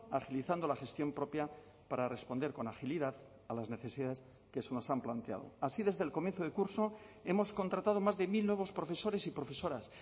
agilizando la gestión propia para responder con agilidad a las necesidades que se nos han planteado así desde el comienzo de curso hemos contratado más de mil nuevos profesores y profesoras